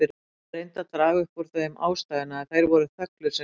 Þær reyndu að draga upp úr þeim ástæðuna, en þeir voru þöglir sem gröfin.